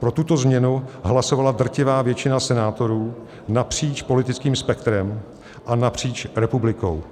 Pro tuto změnu hlasovala drtivá většina senátorů napříč politickým spektrem a napříč republikou.